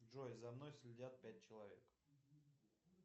джой за мной следят пять человек